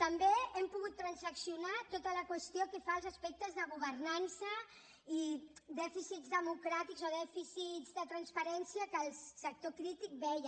també hem pogut transaccionar tota la qüestió que fa als aspectes de governança i dèficits democràtics o dèficits de transparència que el sector crític veia